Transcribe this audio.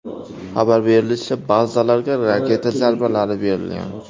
Xabar berilishicha, bazalarga raketa zarbalari berilgan.